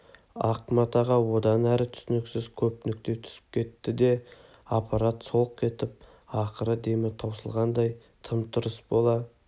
ақ матаға одан әрі түсініксіз көп нүкте түсіп кетті де аппарат солқ етіп ақырғы демі таусылғандай тым-тырыс бола